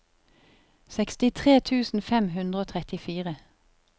sekstitre tusen fem hundre og trettifire